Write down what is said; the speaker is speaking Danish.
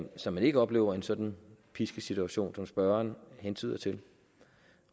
så man ikke oplever en sådan pisket situation som spørgeren hentyder til